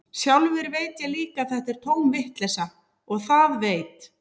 Sjálfur veit ég líka að þetta er tóm vitleysa, og það veit